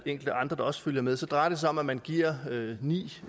enkelte andre der også følger med det drejer sig om at man giver ni